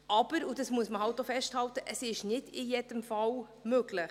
Aber, das muss man halt auch festhalten, es ist nicht in jedem Fall möglich.